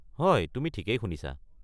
হয়, তুমি ঠিকেই শুনিছা।